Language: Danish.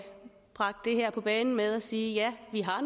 bragt det her på banen med at sige at ja vi har